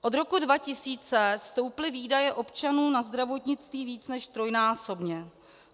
Od roku 2000 stouply výdaje občanů na zdravotnictví více než trojnásobně.